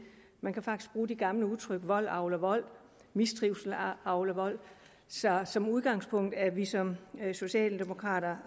man kan faktisk bruge det gamle udtryk vold avler vold mistrivsel avler vold så som udgangspunkt er vi som socialdemokrater